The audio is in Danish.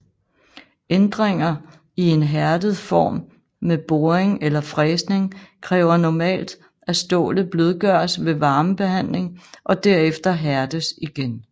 Ændringer i en hærdet form med boring eller fræsning kræver normalt at stålet blødgøres ved varmebehandling og derefter hærdes igen